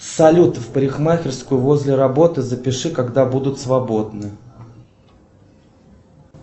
салют в парикмахерскую возле работы запиши когда будут свободны